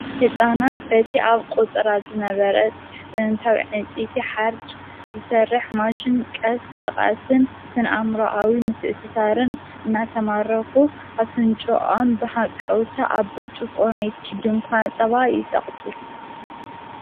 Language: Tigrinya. ሕፃናት በቲ ኣብ ቆጽራ ዝነበረት ጥንንታዊ ዕንፀይቲ ሓርጭ ዝሠርሕ ማሽን ቀስ በቓስን ስንኣምሮዓዊ ምትእስሳርን እናተማረኹ ኣፍንጮኣም ብሃቀውታ ኣብ ብርጭቆ ናይቲ ድንኳ ጸባ ይጸቕጡጥ።